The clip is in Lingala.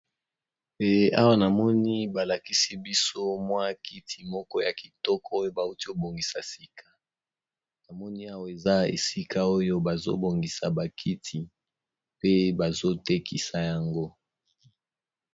Eee awa namoni balakisi biso mwa kiti moko ya kitoko oyo bauti kobongisa sika, namoni awa eza esika oyo bazobongisa bakiti pe bazotekisa yango.